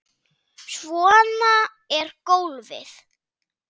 Svona er golfið.